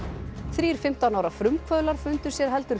þrír fimmtán ára frumkvöðlar fundu sér heldur